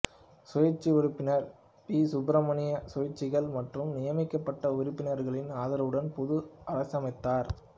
சுயேட்சை உறுப்பினர் பி சுப்பராயன் சுயேட்சைகள் மற்றும் நியமிக்கப்பட்ட உறுப்பினர்களின் ஆதரவுடன் புது அரசமைத்தார்